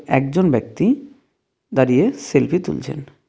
একজন ব্যক্তি দাঁড়িয়ে সেলফি তুলছেন।